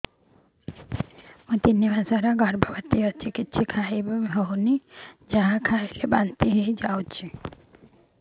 ମୁଁ ତିନି ମାସର ଗର୍ଭବତୀ କିଛି ଖାଇ ହେଉନି ଯାହା ଖାଇଲେ ବାନ୍ତି ହୋଇଯାଉଛି